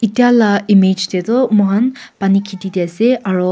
itya la image te tu muihan pani kheti te ase aro--